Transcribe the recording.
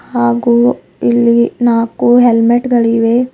ಹಾಗೂ ಇಲ್ಲಿ ನಾಕು ಹೆಲ್ಮೆಟ್ ಗಳಿವೆ.